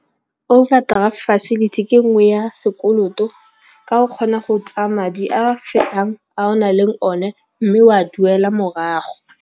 Overdraft facility ke nngwe ya sekoloto, ka o kgona go tsaya madi a fetang a o nang le one, mme o a duele morago.